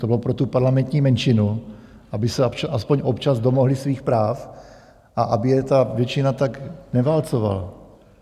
To bylo pro tu parlamentní menšinu, aby se aspoň občas domohli svých práv a aby je ta většina tak neválcovala.